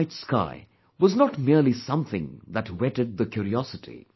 The night sky, was not merely something that whetted the curiosity